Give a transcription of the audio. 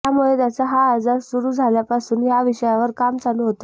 त्यामुळे त्यांचं हा आजार सुरु झाल्यापासून ह्या विषयावार काम चालू होतंच